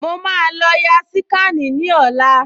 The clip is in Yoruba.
Mo máa lọ ya síkànì ní ọ̀la